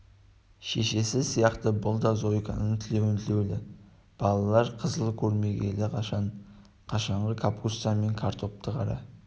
шешесі сияқты бұл да зойканың тілеуін тілеулі балалар қызыл көрмегелі қашан қашанғы капуста мен картопты қара